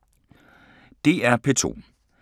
DR P2